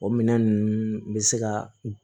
O minɛn nunnu bɛ se ka